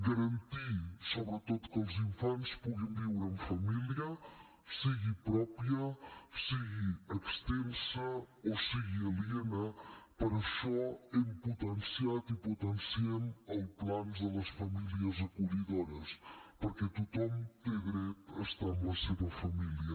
garantir sobretot que els infants puguin viure en família sigui pròpia sigui extensa o sigui aliena per això hem potenciat i potenciem els plans de les famílies acollidores perquè tothom té dret a estar amb la seva família